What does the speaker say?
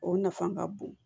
O nafa ka bon